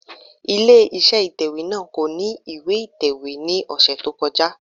Ilé iṣẹ́ ìtẹ̀wẹ́ náà kò ní ìwé ìtẹ̀wé ní ọ̀sẹ̀ tó kọjá.